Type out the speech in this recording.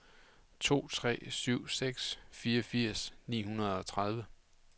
to tre syv seks fireogfirs ni hundrede og tredive